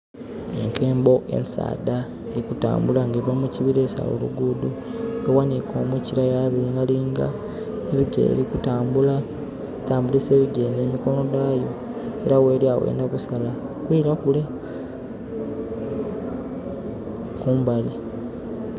Enkembo ensaadha eri kutambula nga eva mu kibira esala olugudho eghanike omukire yalingalinga enho kerikutambula kutambulisa ebigere nh'emikonho dhayo era gheri agho eyendha kisala kwila kule kumbali.